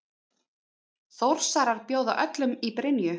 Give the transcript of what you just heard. Þórsarar bjóða öllum í Brynju!